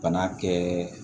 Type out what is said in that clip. Bana kɛ